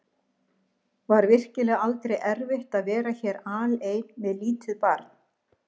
Var virkilega aldrei erfitt að vera hér alein með lítið barn?